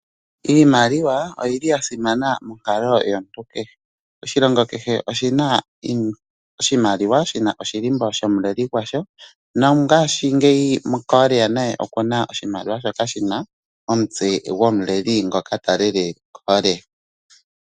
Iimaliwa oyili ya simana monkalo yomuntu kehe. Oshilongo kehe oshi na oshimaliwa shina oshilimbo shomuleli gwasho nongashingeyi Korea naye okuna oshimaliwa shina omutse gwomuleli ngoka talele Korea.